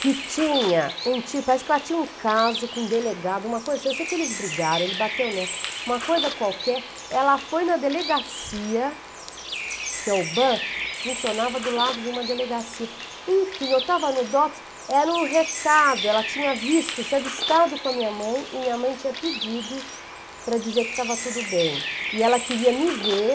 que tinha um tipo, parece que ela tinha um caso com um delegado, uma coisa assim, eu sei que eles brigaram, ele bateu nela, uma coisa qualquer, ela foi na delegacia, porque a Ubam funcionava do lado de uma delegacia, enfim, eu estava no Dops, era um recado, ela tinha visto, se avistado com a minha mãe, e minha mãe tinha pedido para dizer que estava tudo bem, e ela queria me ver,